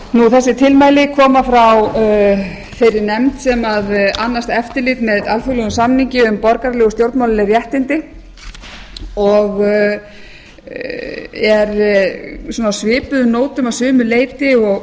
þessi tilmæli koma frá þeirri nefnd sem annast eftirlit með alþjóðlegum samningi um borgaraleg og stjórnmálaleg réttindi og eru á svipuðum nótum að sumu leyti og